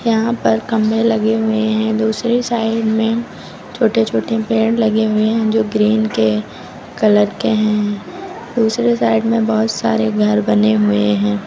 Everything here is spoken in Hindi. यहां पर खंभे लगे हुए हैं दूसरी साइड में छोटे छोटे पेड़ लगे हुए हैं जो ग्रीन के कलर के हैं दूसरे साइड में बहुत सारे घर बने हुए हैं।